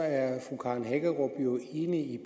at fru karen hækkerup er enig i